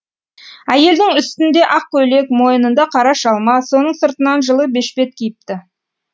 әйелдің үстінде ақ көйлек мойынында қара шалма соның сыртынан жылы бешпет киіпті